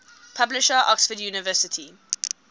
publisher oxford university